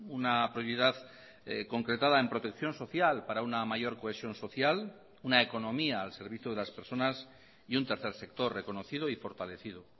una prioridad concretada en protección social para una mayor cohesión social una economía al servicio de las personas y un tercer sector reconocido y fortalecido